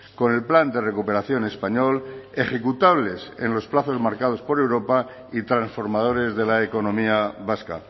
con el plan de recuperación español ejecutables en los plazos marcados por europa y transformadores de la economía vasca